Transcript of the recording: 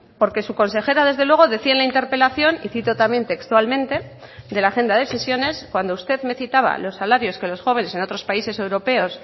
porque su consejera desde luego decía en la interpelación y cito también textualmente de la agenda de sesiones cuando usted me citaba los salarios que los jóvenes en otros países europeos